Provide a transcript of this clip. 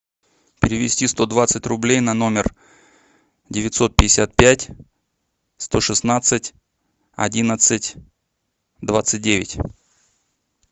перевести сто двадцать рублей на номер девятьсот пятьдесят пять сто шестнадцать одиннадцать двадцать девять